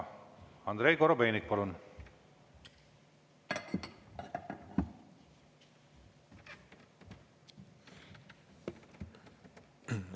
Andrei Korobeinik, palun!